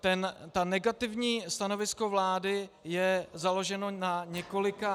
To negativní stanovisko vlády je založeno na několika -